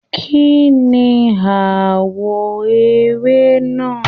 Kínní àwọ̀ ère náà?